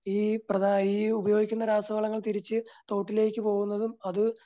ഈ പ്രധാ ഈ ഉപയോഗിക്കുന്ന രാസവളങ്ങൾ തിരിച്ച് തോട്ടിലേക്ക് പോകുന്നതും അത്